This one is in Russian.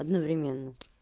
одновременно